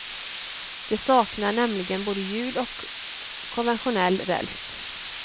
Det saknar nämligen både hjul och konventionell räls.